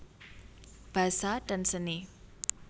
Basa dan Seni